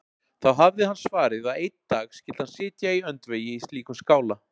Þá hafði hann svarið að einn dag skyldi hann sitja í öndvegi í slíkum skála.